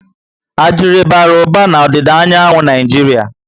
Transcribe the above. Adire bara uba na odida anyanwu Naijiria